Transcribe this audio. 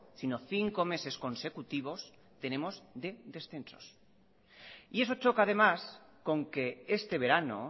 sino cinco meses consecutivos tenemos de descensos y eso choca además con que este verano